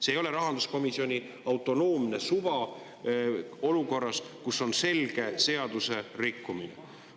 See ei ole rahanduskomisjoni autonoomne suva olukorras, kus on selge seadusrikkumine.